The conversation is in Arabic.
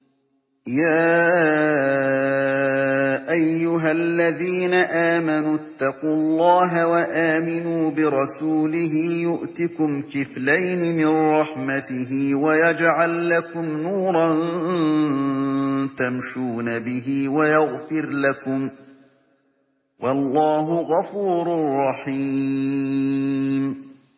يَا أَيُّهَا الَّذِينَ آمَنُوا اتَّقُوا اللَّهَ وَآمِنُوا بِرَسُولِهِ يُؤْتِكُمْ كِفْلَيْنِ مِن رَّحْمَتِهِ وَيَجْعَل لَّكُمْ نُورًا تَمْشُونَ بِهِ وَيَغْفِرْ لَكُمْ ۚ وَاللَّهُ غَفُورٌ رَّحِيمٌ